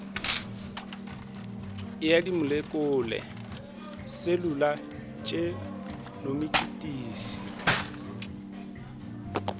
ya dimolekule le selula tšenomikisi